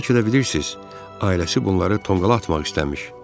Fikirləşirsiz, ailəsi bunları tonqala atmaq istəmiş.